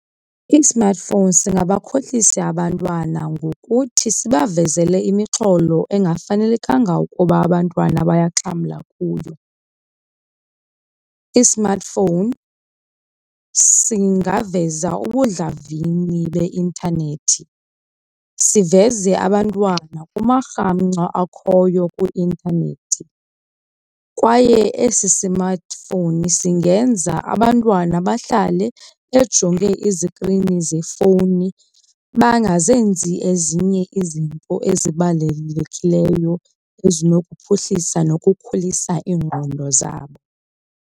I-smartphone singabakhohlisa abantwana ngokuthi sibavezele imixholo engafanelekanga ukuba abantwana bayaxhamla kuyo. I-smartphone singaveza ubundlavini beintanethi, siveze abantwana kumarhamncwa akhoyo kwi-intanethi kwaye esi smartphone singenza abantwana bahlale bejonge izikrini zefowuni bangazenzi ezinye izinto ezibalulekileyo ezinokuphuhlisa nokukhulisa iingqondo zabo.